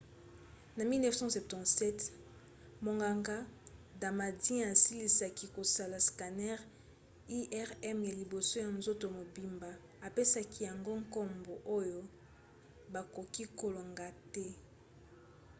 na 1977 monganga damadian asilisaki kosala scanner irm ya liboso ya nzoto mobimba, apesaki yango nkombo oyo bakoki kolonga te.